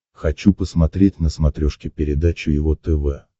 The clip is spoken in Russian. хочу посмотреть на смотрешке передачу его тв